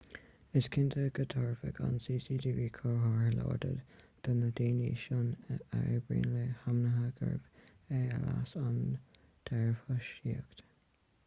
is cinnte go dtabharfadh an cctv comhartha láidir do na daoine sin a oibríonn le hainmhithe gurb é a leas an dearbhthosaíocht